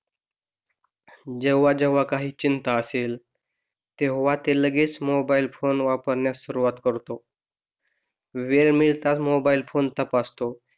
जेव्हा जेव्हा काही चिंता असेल तेव्हा ते लगेच मोबाईल फोन वापरण्यास सुरूवात करतो वेळ मिळताच मोबाईल फोन तपासतो